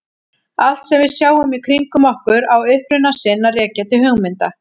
Allt sem við sjáum í kringum okkur á uppruna sinn að rekja til hugmynda.